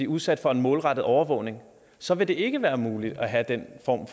udsat for en målrettet overvågning så vil det ikke være muligt at have den form